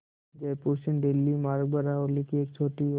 जयपुर से दिल्ली मार्ग पर अरावली की एक छोटी और